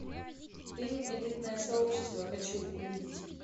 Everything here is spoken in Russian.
фильм элитное сообщество хочу увидеть